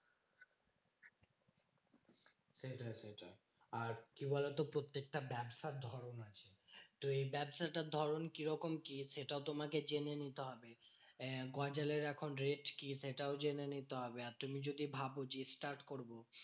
সেটা সেটা, আর কি বলতো? প্রত্যেকটা ব্যবসার ধরণ আছে। তুমি ব্যাবসাটার ধরণ কি রকম কি? সেটাও তোমাকে জেনে নিতে হবে। আহ গজালের এখন rate কি? সেটাও জেনে নিতে হবে। আর তুমি যদি ভাব যে, start করবো